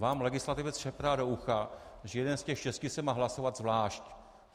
Vám legislativec šeptá do ucha, že jeden z těch šesti se má hlasovat zvlášť.